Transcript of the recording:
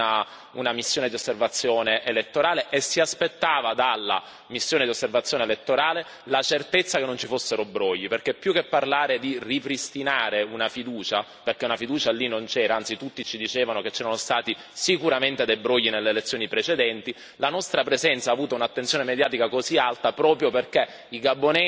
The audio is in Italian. una missione di osservazione elettorale e si aspettava dalla missione di osservazione elettorale la certezza che non ci fossero brogli, perché più che parlare di ripristinare la fiducia perché la fiducia lì non c'era, anzi tutti ci dicevano che c'erano stati sicuramente dei brogli nelle elezioni precedenti la nostra presenza ha avuto un'attenzione mediatica così alta proprio perché i gabonesi